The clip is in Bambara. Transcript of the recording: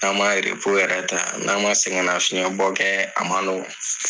N'an man yerepo yɛrɛ ta n'an man sɛgɛn nafiɲɛbɔ kɛ a man nɔgɔ.